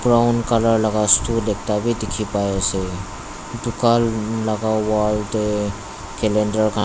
brown colour laga stool ekta vi dekhi pai asa ducan laga wall tae calander an.